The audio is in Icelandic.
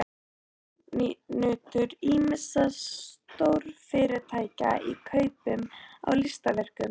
Er ráðunautur ýmissa stórfyrirtækja í kaupum á listaverkum.